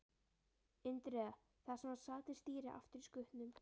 Indriða, þar sem hann sat við stýrið aftur í skutnum.